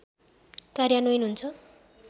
कार्यान्वयन हुन्छ